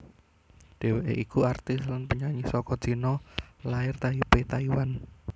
Dheweké iku aktris lan penyanyi saka China lair Taipei Taiwan